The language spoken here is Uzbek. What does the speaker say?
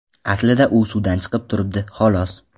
Aslida u suvdan chiqib turibdi, xolos.